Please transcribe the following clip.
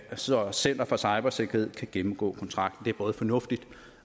så center for cybersikkerhed kan gennemgå kontrakten det er både fornuftigt